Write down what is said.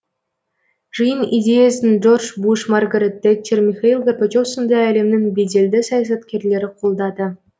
жиын идеясын джордж буш маргарет тэтчер михаил горбачев сынды әлемнің беделді саясаткерлері қолдады